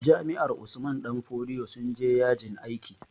Jami'ar Usman danfodiyo sun je yajin aiki